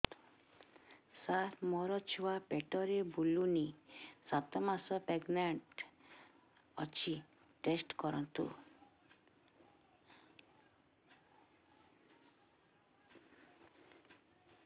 ସାର ମୋର ଛୁଆ ପେଟରେ ବୁଲୁନି ସାତ ମାସ ପ୍ରେଗନାଂଟ ଅଛି ଟେଷ୍ଟ କରନ୍ତୁ